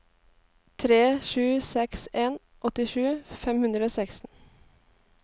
tre sju seks en åttisju fem hundre og seksten